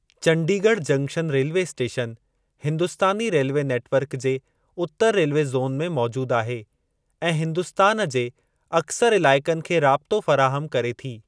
Chandigarh junction railway station Hindustani railway network जे उतरु railway zone में मौजूद आहे ऐं हिन्दुस्तान जे अक्सर इलाइक़नि खे राब्तो फ़राहमु करे थी।